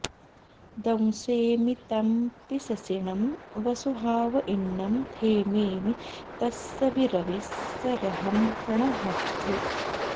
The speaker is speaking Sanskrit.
दंसेमि तं पि ससिणं वसुहावइण्णं थेमेमि तस्स वि रविस्स रहं णहद्धे